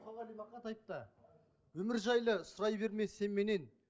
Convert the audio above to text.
өмір жайлы сұрай берме сен меннен